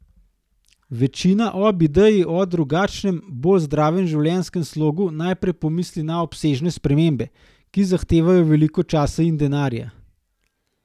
Večina ob ideji o drugačnem, bolj zdravem življenjskem slogu najprej pomisli na obsežne spremembe, ki zahtevajo veliko časa in denarja.